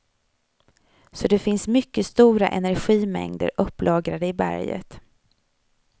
Så det finns mycket stora energimängder upplagrade i berget.